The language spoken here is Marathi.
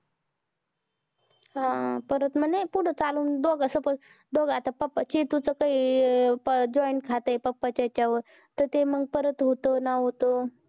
हा मग परत मग नाही पुढं चालून दोघ suppose दोघ आता papa चेतु चं काही join खात हे. papa च्या ह्याच्यावर. तर ते मंग परत होतं ना होतं.